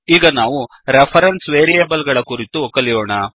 ಈಗ ನಾವು reference variable ಗಳ ಕುರಿತು ಕಲಿಯೋಣ